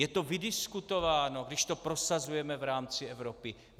Je to vydiskutováno, když to prosazujeme v rámci Evropy?